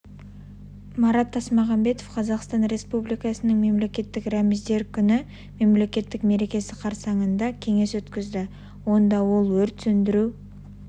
марат тасмағанбетов қазақстан республикасының мемлекеттік рәміздері күні мемлекеттік мерекесі қарсаңында кеңес өткізді онда ол өрт сөндіру